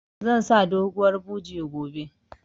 Zan sa doguwar buje gobe